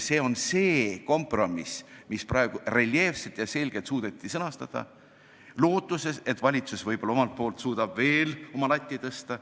See eelnõu on kompromiss, mis suudeti praegu reljeefselt ja selgelt sõnastada lootuses, et võib-olla suudab valitsus latti omalt poolt veelgi tõsta.